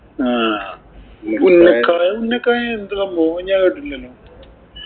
ആഹ് ഉന്നക്കായ ഉന്നക്കായ എന്തു സംഭവം? ഞാന്‍ കേട്ടിട്ടില്ലല്ലോ.